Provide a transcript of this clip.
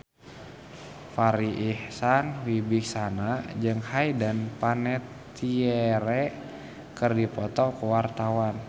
Farri Icksan Wibisana jeung Hayden Panettiere keur dipoto ku wartawan